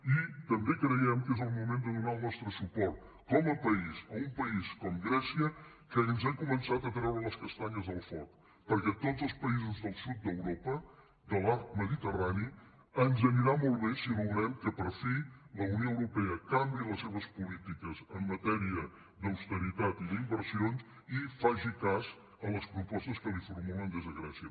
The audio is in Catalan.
i també creiem que és el moment de donar el nostre suport com a país a un país com grècia que ens ha començat a treure les castanyes del foc perquè a tots els països del sud d’europa de l’arc mediterrani ens anirà molt bé si aconseguim que per fi la unió europea canviï les seves polítiques en matèria d’austeritat i d’inversions i faci cas a les propostes que li formulen des de grècia